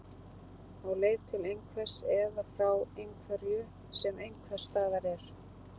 Á leið til einhvers eða frá einhverju sem einhvers staðar er.